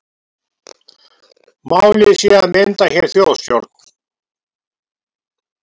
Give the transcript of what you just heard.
Málið sé að mynda hér þjóðstjórn